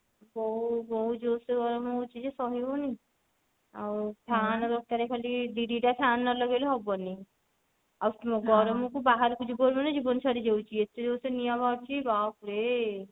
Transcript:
ବଉ ବହୁତ ଜୋରସେ ଗରମ ହଉଛି ଯେ ସହି ହଉନି ଆଉ fan ଦରକାର ଖାଲି ଦି ଦି ଟା fan ନ ଲଗେଇଲେ ହବନି ଆଉ ଗରମ କୁ କୁ ବାହାରକୁ ଯିବୁ ମାନେ ଜୀବନ ଛାଡି ଯାଉଛି ଏତେ ଜୋରସେ ନିଆ ବାହାରୁଛି ବାପ୍ ରେ